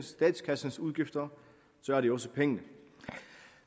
statkassens udgifter så er det jo også penge